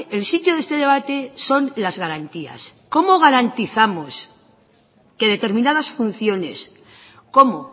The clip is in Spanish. el sitio de este debate son las garantías cómo garantizamos que determinadas funciones como